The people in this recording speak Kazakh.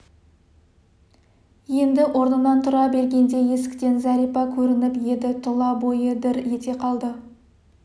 енді орнынан тұра бергенде есіктен зәрипа көрініп еді тұла бойы дір ете қалды